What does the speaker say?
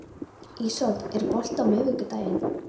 Ísold, er bolti á miðvikudaginn?